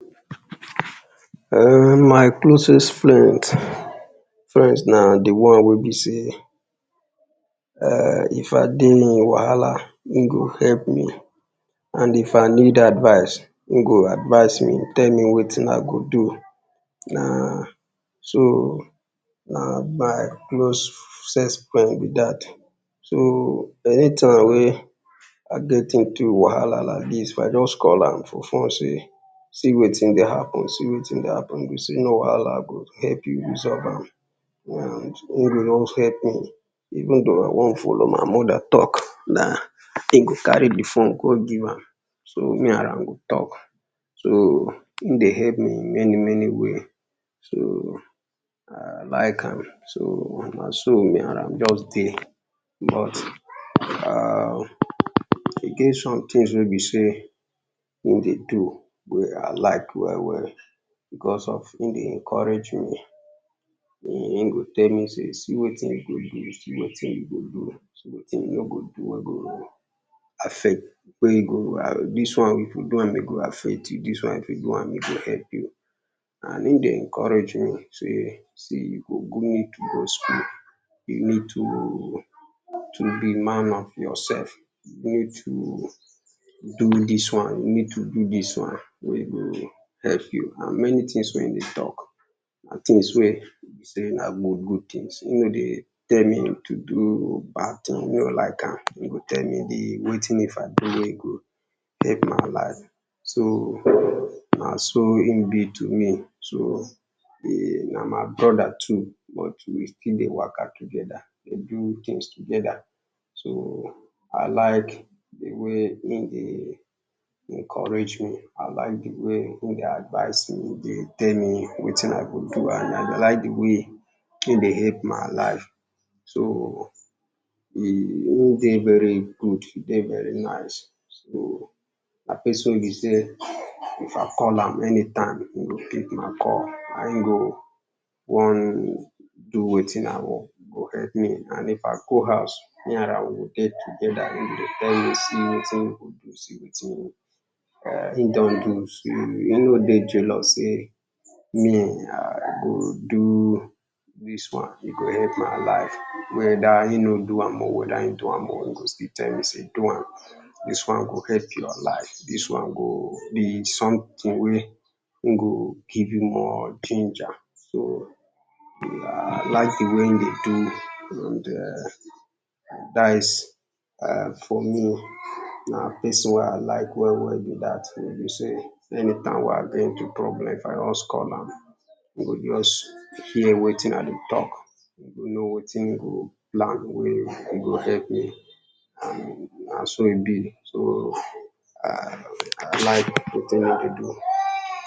[ urn ] my closest friend, friends ma di one wey be sey [urn] if I dey any wahala, in go help me, and if I need any advice, in go advise me tell me wetin I go do. Na so na my closest friend b e dat so anytime I get into wahala like dis, if I just call am for phone sey see wetin dey happen, see wetin dey happen, in go sey no wahala I go help you solve am, in go just help me, even though I wan follow my mother talk na in go carry di phone go give am ma and am go talk so in dey help me many many way, so I like am, na so me and am just dey, but [urn] e get some things wey in dey do, wey me I like well well because of in dey encourage me, in go tell me sey see wein you go do, see wetin you go do, see wetin you nor go do wey in go affect, dis one if you do am e go affect you, in go encourage me sey see you go [2] to be man of yourself, need to do dis one, you need to do dis one wey go help you, and many things wey in dey talk na things wey be good things in no dey tell me to do bad things, e no like am, in go tell me di thing wen if I do in go help my life, so na so in be to me, so na my brother too. But we still dey waka together dey do things together, so I like di way in dey encourage me, I like di way in dey advise me, in dey tell me wetin I go do, and I like di way in dey help my life, so in dey very good dey very nice so, na person wey be sey if I call am anytime in go pick my call, and in go wan do wetin I want, in go help me and if I go house me and am, we go dey together in go tell me sey see wetin you go do, see wetin you go do, in no do in no dey jealous sey, me I go do dis one in go help my life, whether in no do am oh, whether in do am oh, in go still tell me sey do am, dis one go help your life, dis one go be something wey in go give you more danger, so I like di way in dey do and [urn] dat is for me, na person wey I like well well be dat, wey be sey even though I dey into problem if I just call am in go hear wetin I go talk, know wetin, how in go help me and na so e be so I like di thing wey dey do.